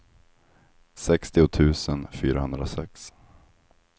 sextio tusen fyrahundrasex